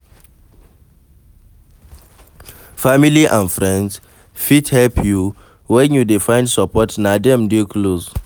Family and friends fit help your when you dey find support na dem dey close